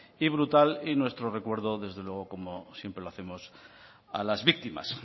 y brutal y nuestro recuerdo desde luego como siempre lo hacemos a las víctimas